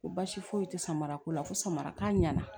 Ko baasi foyi tɛ samara ko la fo samara k'a ɲɛna